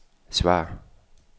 svar